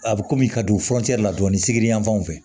A bɛ kɔmi ka don la dɔɔnin sigini yan fanw fɛ